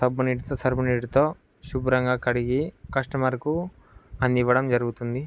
సబ్బు నీటితోసర్ఫ్(surf) నీటితో శుభ్రంగా కడిగి కస్టమర్ కు అందివ్వడం జరుగుతుంది.